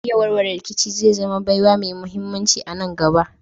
Iya warware rikici zai zama baiwa mai muhimmanci a nan gaba.